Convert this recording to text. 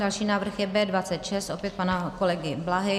Další návrh je B26 - opět pana kolegy Blahy.